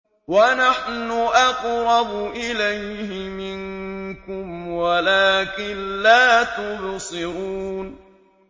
وَنَحْنُ أَقْرَبُ إِلَيْهِ مِنكُمْ وَلَٰكِن لَّا تُبْصِرُونَ